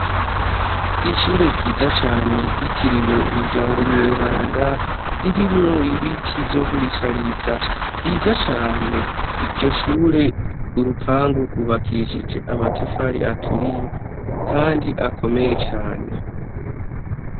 Ishure ryiza cane ryitiriwe umuryango mweranda ririmwo ibiti vyo kurishariza vyiza cane ivyo shure urupangu rubakishije amatafari aturiye, kandi akomeye cane.